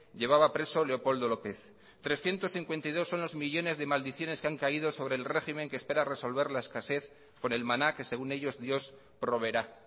llevaba preso leopoldo lópez trescientos cincuenta y dos son los millónes de maldiciones que han caído sobre el régimen que espera resolver la escasez con el maná que según ellos dios proveerá